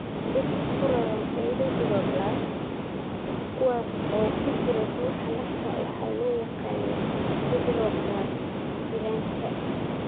Birta ku raran erythroblasts, kuwaas oo ku jira dhuuxa lafta, waxaa loo yaqaannaa sideroblasts giraanta.